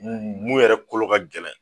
Mun mun yɛrɛ kolo ka gɛlɛn